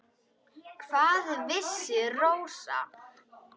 Hvað vissi Rósa.